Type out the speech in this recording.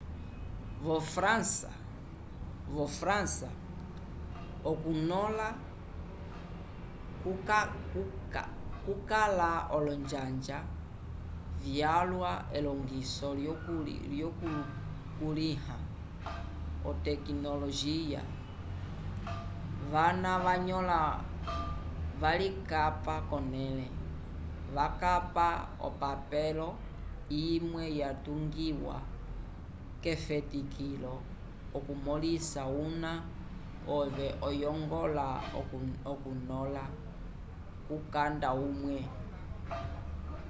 vo frança okunõla kukala olonjanja vyalwa elongiso lyokukulĩha otekinolojiya vana vanõla valikapa k'onẽle vakapa opapelo imwe yatungiwa k'efetikilo okumõlisa una ove oyongola okunõla kukanda umwe